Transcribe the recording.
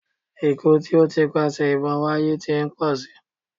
Ikú tí ó ń ti ipasẹ̀ ìbọn wáyé tí ń pọ̀ si.